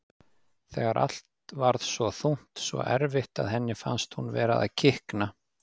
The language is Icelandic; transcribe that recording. Þegar allt varð svo þungt, svo erfitt, að henni fannst hún vera að kikna.